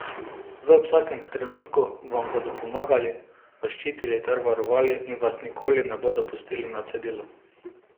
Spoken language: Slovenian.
V vsakem trenutku vam bodo pomagali, vas ščitili ter varovali in vas nikoli ne bodo pustili na cedilu.